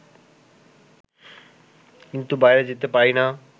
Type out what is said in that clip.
কিন্তু বাইরে যেতে পারি না